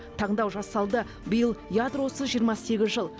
таңдау жасалды биыл ядросыз жиырма сегіз жыл